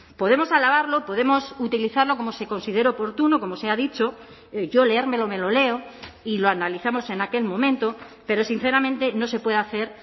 podemos alabarlo podemos utilizarlo como se considere oportuno como se ha dicho yo leérmelo me lo leo y lo analizamos en aquel momento pero sinceramente no se puede hacer